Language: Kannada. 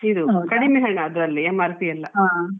ಹೌದಾ